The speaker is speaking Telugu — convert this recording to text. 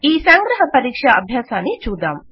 ఈ సంగ్రహ పరీక్షా అభ్యాసాన్ని చూద్దాం